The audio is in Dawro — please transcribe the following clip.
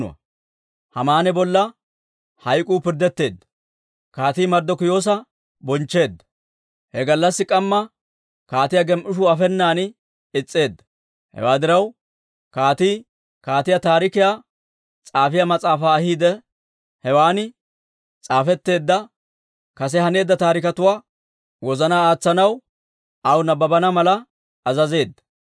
He gallassi k'amma kaatiyaa gem"ishuu afenan is's'eedda. Hewaa diraw, kaatii Kaatiyaa Taarikiyaa S'aafiyaa Mas'aafaa ahiide, hewan s'aafetteedda, kase haneedda taariketuwaa wozanaan aatsanaw aw nabbabana mala azazeedda.